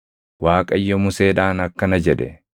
Waaqayyo Museedhaan akkana jedhe;